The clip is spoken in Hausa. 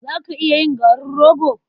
Za ka iya yin garin rogo?